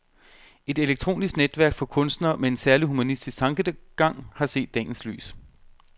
Et elektronisk netværk for kunstnere med en særlig humanistisk tankegang har set dagens lys.